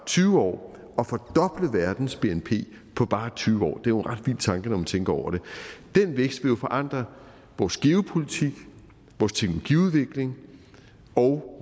tyve år og fordoble verdens bnp på bare tyve år det er en ret vild tanke når man tænker over det den vækst vil jo forandre vores geopolitik vores teknologiudvikling og